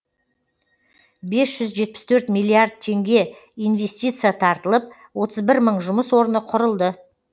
бес жүз жетпіс төрт миллиард теңге инвестиция тартылып отыз бір мың жұмыс орны құрылды